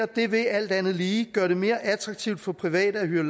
det vil alt andet lige gøre det mere attraktivt for private at hyre